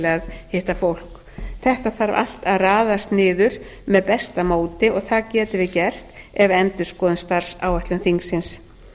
að hitta fólk þetta þarf allt að raðast niður með besta móti og það getum við gert ef við endurskoðum starfsáætlun þingsins